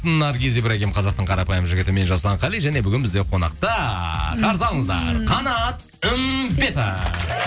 наргиз ибрагим қазақтың қарапайым жігіті мен жасұлан қали және бүгін бізде қонақта қарсы алыңыздар қанат үмбетов